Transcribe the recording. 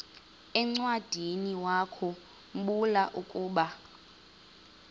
encwadiniwakhu mbula ukuba